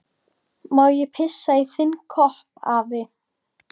Má ég pissa í þinn kopp, afi?